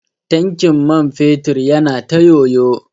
Tankin man fetur yana ta yoyo.